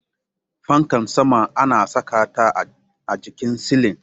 Fankar sama ana saka ta a jikin silin